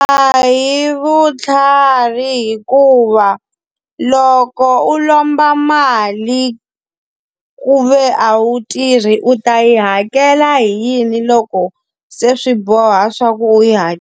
A hi vutlhari hikuva, loko u lomba mali ku ve a wu tirhi u ta yi hakela hi yini loko se swi boha swa ku u yi .